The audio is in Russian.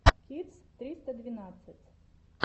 кидс триста двенадцать